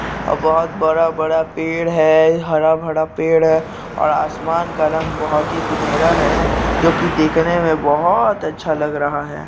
और बहोत बड़ा - बड़ा पेड़ है हरा भड़ा पेड़ है और आसमान का रंग बहोत ही सुनेहरा है जो की दिखने में बहोत अच्छा लग रहा है।